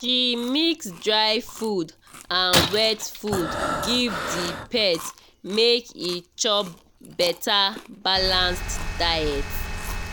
she mix dry food and wet food give the pet make e chop better balanced food